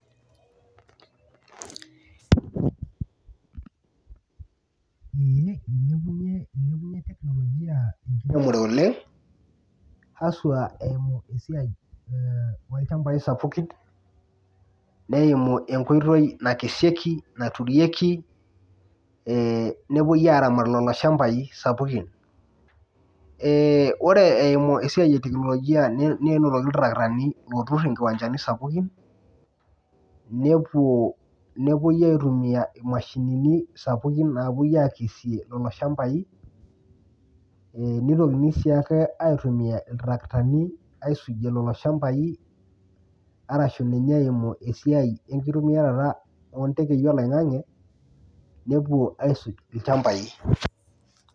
Ilepunye technologia enkiremore oleng haswa eimu esiai olchambai sapukini neimu enkoitoi nakeshieki, naturieki e nepuoi aramat loloshambai sapukin ore eimu esiai e technologia ninotoki ltarakitani otur nkiwanjani sapukin nepuoi aitumia mashinini sapukini apuo akesie loloshambai ee nitokini si ake aitumia ltarakitani aisujie lolo shambai arashu ninye eimu esiai enkitumiarata ontekei oloingangi nepuo aisuk lchambai .